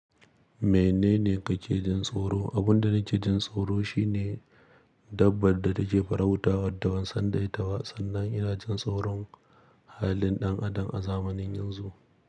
Menene kake jin tsoro? Abun da nake jin tsoro shi ne dabbar da take farauta waddawan sandaita wa, sannan ina jin tsoron halin ɗan adam a zamanin yanzu.